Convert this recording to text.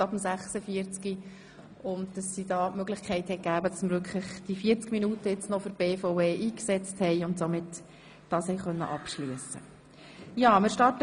Nun haben wir die Möglichkeit erhalten, 40 Minuten für die BVE einzusetzen und die Geschäfte der BVE abzuschliessen.